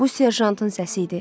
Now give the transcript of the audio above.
Bu serjantın səsi idi.